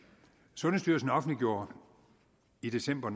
sundhedsstyrelsen offentliggjorde i december